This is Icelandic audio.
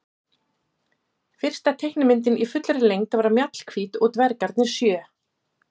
Fyrsta teiknimyndin í fullri lengd var Mjallhvít og dvergarnir sjö.